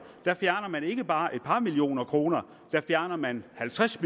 der fjerner man ikke bare et par millioner kroner der fjerner man halvtreds